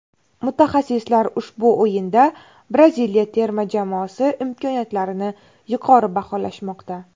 Mutaxassislar ushbu o‘yinda Braziliya terma jamoasi imkoniyatlarini yuqori baholashmoqda.